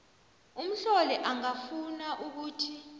umhloli angafuna ukuthi